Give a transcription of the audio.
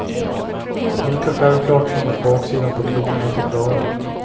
Lika självklart som att baksidan på krona heter klave.